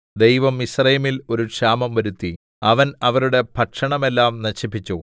ദൈവം മിസ്രയീമില്‍ ഒരു ക്ഷാമം വരുത്തി അവന്‍ അവരുടെ ഭക്ഷണമെല്ലാം നശിപ്പിച്ചു